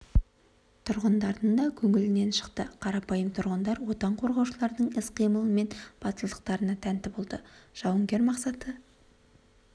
тұрғындардың да көңілінен шықты қарапайым тұрғындар отан қорғаушылардың іс-қимылы мен батылдықтарына тәнті болды жауынгер мақсаты